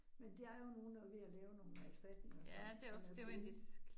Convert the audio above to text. Men der er jo nogen, der ved at lave nogle erstatninger, som som er gode